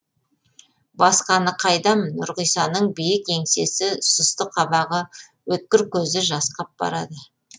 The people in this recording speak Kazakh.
басқаны қайдам нұрғисаның биік еңсесі сұсты қабағы өткір көзі жасқап барады